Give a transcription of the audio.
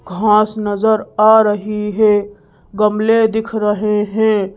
घास नजर आ रही है गमले दिख रहे हैं।